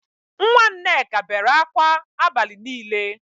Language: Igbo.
Nwa Nneka bere akwa abali nile